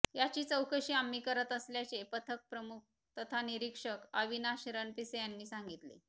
याची चौकशी आम्ही करत असल्याचे पथकप्रमुख तथा निरीक्षक अविनाश रणपिसे यांनी सांगितले